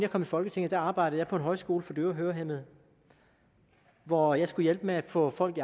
folketinget arbejdede jeg på en højskole for døve og hørehæmmede hvor jeg skulle hjælpe med at få folk